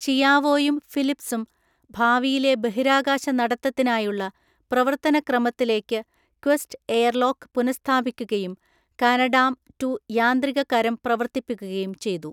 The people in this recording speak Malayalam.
ചിയാവോയും ഫിലിപ്‌സും ഭാവിയിലെ ബഹിരാകാശ നടത്തത്തിനായുള്ള പ്രവർത്തന ക്രമത്തിലേക്ക് ക്വസ്റ്റ് എയർലോക്ക് പുനഃസ്ഥാപിക്കുകയും കാനഡാം റ്റു യാന്ത്രിക കരം പ്രവർത്തിപ്പിക്കുകയും ചെയ്തു.